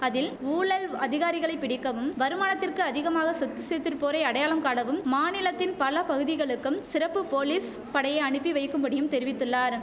அதில் ஊழல் அதிகாரிகளை பிடிக்கவும் வருமானத்திற்கு அதிகமாக சொத்து சேர்த்திருப்போரை அடையாளம் காணவும் மாநிலத்தின் பல பகுதிகளுக்கும் சிறப்பு போலீஸ் படையை அனுப்பி வைக்கும்படியும் தெரிவித்துள்ளாரும்